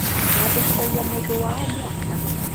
Nyendekithagia mũndũ wa o mwaka.